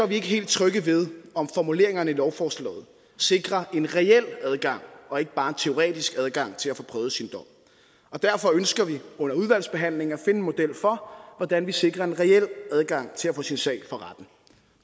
ikke helt trygge ved om formuleringerne i lovforslaget sikrer en reel adgang og ikke bare en teoretisk adgang til at få prøvet sin dom og derfor ønsker vi under udvalgsbehandlingen at finde en model for hvordan vi sikrer en reel adgang til at få sin sag for retten